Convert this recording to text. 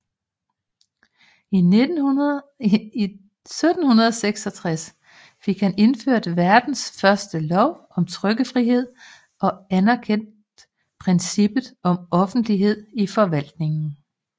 I 1766 fik han indført verdens første lov om trykkefrihed og anerkendt princippet om offentlighed i forvaltningen